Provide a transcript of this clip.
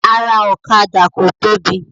Ara ọ̀kadà ko tóbi.